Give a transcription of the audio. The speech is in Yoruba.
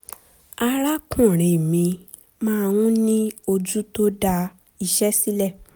arákùnrin mi máa ń ní ojú tó da iṣẹ́ sílẹ̀